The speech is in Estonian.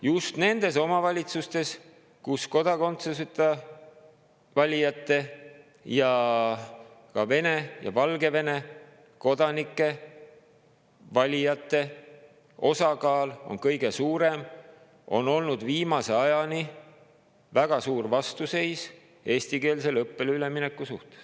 Just nendes omavalitsustes, kus kodakondsuseta valijate ning ka Vene ja Valgevene kodanikest valijate osakaal on kõige suurem, on viimase ajani olnud väga suur vastuseis eestikeelsele õppele üleminekule.